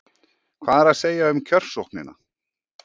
Hvað er að segja um kjörsóknina?